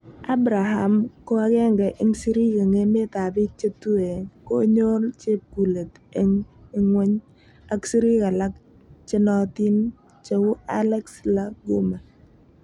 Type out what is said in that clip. Abraham ko agenge en sirik en emetab bik che tue konyol chepkulet en ingwony, ak sirik alak che nootin cheu Alex La Guma.